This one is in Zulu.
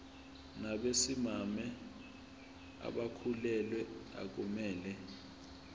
nabesimame abakhulelwe akumele